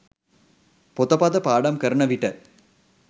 පොතපත පාඩම් කරන විට